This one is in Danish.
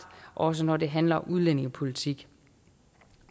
også når det handler om udlændingepolitik